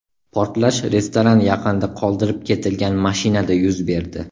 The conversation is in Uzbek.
Portlash restoran yaqinida qoldirib ketilgan mashinada yuz berdi.